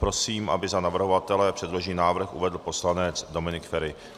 Prosím, aby za navrhovatele předložený návrh uvedl poslanec Dominik Feri.